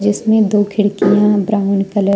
इसमें दो खिड़कियां ब्राउन कलर --